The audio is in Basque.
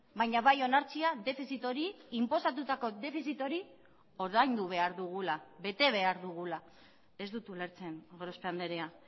baina bai onartzea defizit hori inposatutako defizit hori ordaindu behar dugula bete behar dugula ez dut ulertzen gorospe andrea